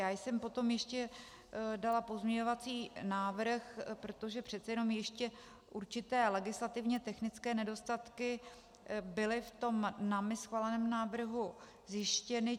Já jsem potom ještě dala pozměňovací návrh, protože přece jenom ještě určité legislativně technické nedostatky byly v tom námi schváleném návrhu zjištěny.